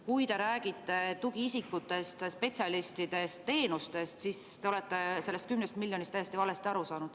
Kui te räägite tugiisikutest, spetsialistidest, teenustest, siis te olete sellest 10 miljonist täiesti valesti aru saanud.